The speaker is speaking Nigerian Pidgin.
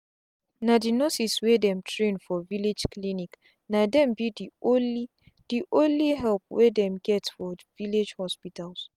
na the nurses wey dem train for village clinicna dem be the only the only help wey dem get for village hospitals.